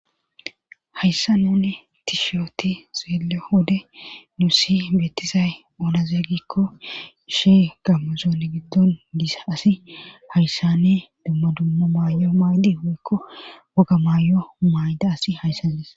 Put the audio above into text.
Hayssa nune tishooti xeele wode nuusi beettisay onazeegikko ishe gamuzoole giddon dis asi hayssanne dumma dummo maayo maydi huykko woga maay7o mayda asi hayssandis.